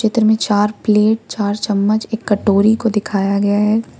चित्र में चार प्लेट चार चम्मच एक कटोरी को दिखाया गया है।